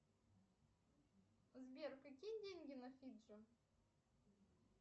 сбер какие деньги на фиджи